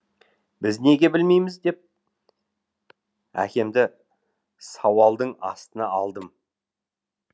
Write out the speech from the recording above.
біз неге білмейміз деп әкемді сауалдың астына алдым